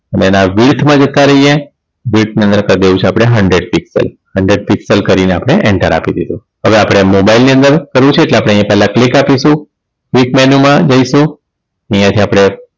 અને એના width માં જતા રહીએ width ની અંદર કરી દેવું છે hundred piscal hundred piscal કરીને આપણે enter આપી દીધું હવે આપણે mobile ની અંદર કરવું છે એટલે આપણે અહીંયા પહેલા click આપીશું click menu માં જઈશું અહીંયા થી આપણે